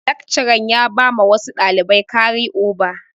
Lekcaran ya bama wasu ɗalibai kari oba.